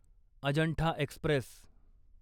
Ajanta Express